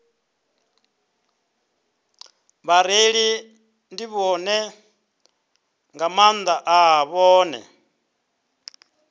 vhareili nḓivho nga maanḓa vhane